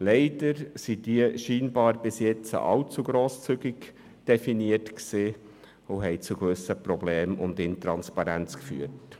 Leider waren sie bisher scheinbar allzu grosszügig definiert, was zu gewissen Problemen sowie zu Intransparenz führte.